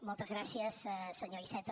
moltes gràcies senyor iceta